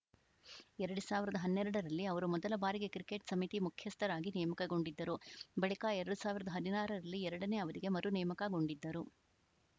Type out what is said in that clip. ಎರಡು ಸಾವಿರದ ಹನ್ನೆರಡರಲ್ಲಿ ಅವರು ಮೊದಲ ಬಾರಿಗೆ ಕ್ರಿಕೆಟ್‌ ಸಮಿತಿ ಮುಖ್ಯಸ್ಥರಾಗಿ ನೇಮಕಗೊಂಡಿದ್ದರು ಬಳಿಕ ಎರಡು ಸಾವಿರದ ಹದಿನಾರರಲ್ಲಿ ಎರಡನೇ ಅವಧಿಗೆ ಮರು ನೇಮಕಗೊಂಡಿದ್ದರು